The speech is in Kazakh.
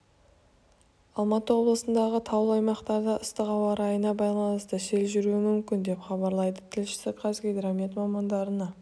алматы облысындағы таулы аймақтарда ыстық ауа райына байланысты сел жүруі мүмкін деп хабарлайды тілшісі қазгидромет мамандарына